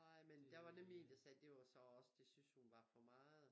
Nej men der nemlig en der sagde det var så også det synes hun var for meget